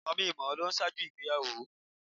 Mòminmòó ló n ṣáájú ìgbéyàwó